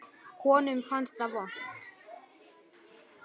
Honum fannst það vont.